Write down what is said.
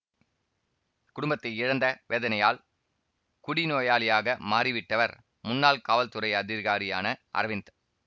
குடும்பத்தை இழந்த வேதனையால் குடிநோயாளியாக மாறிவிட்டவர் முன்னாள் காவல்துறை அதிகாரியான அரவிந்த்